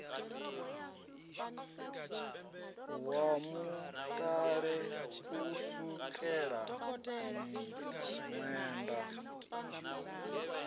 wa mutale u sukela miṅwenda